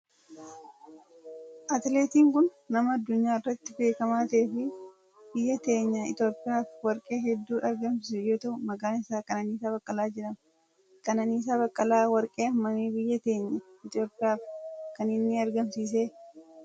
Atileetiin kun nama addunyaa irratti beekamaa ta'e fi biyya teenya Itiyoophiyaaf warqee heddu argamsiise yoo ta'u maqaan isaa Qananiisaa Baqqalaa jedhama. Qananiisaa Baqqalaa warqee hammamii biyya teenya Itiyoophiyaaf kan inni argamsiise?